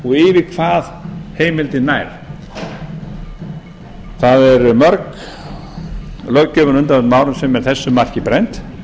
yfir hvað heimildin nær það er mörg löggjöfin á undanförnum árum sem er þessu marki brennd